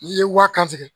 N'i ye waaka tigɛ